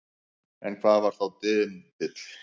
En hvað var þá dymbill?